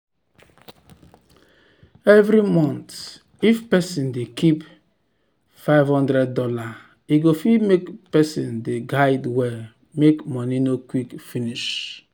every month if person dey keep five hundred dollars e go fit make person de guide well make money no quick finish.